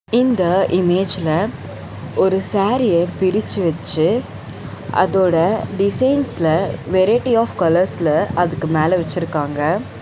இந்த இமேஜ்ல ஒரு சாரீய பிரிச்சு வச்சு அதோட டிசைன்ஸ்ல வெரைட்டிஸ் ஆப் கலர்ஸ்ல அதுக்கு மேல வச்சிருக்காங்க.